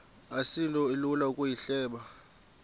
asinto ilula ukuyihleba